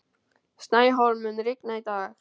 Snæhólm, mun rigna í dag?